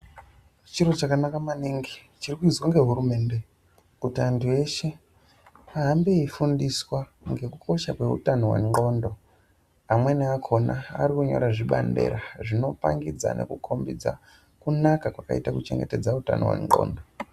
Chiro chakanaka maningi chiri kuizwa nehurumende kuti antu eshe ahambe eifundiswa ngekukosha kweutano hweqondo. Amweni akona arikunyora zvibhandera zvinopangidza nekukombidza kunaka kwakaita kuchengetedza utano hweqondo.